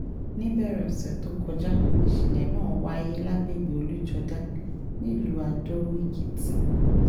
níbẹ̀rẹ̀ ọ̀sẹ̀ tó kọjá níṣẹ̀lẹ̀ náà wáyé lágbègbè ojújódá nílùú adó-èkìtì